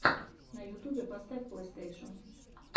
на ютубе поставь плейстейшен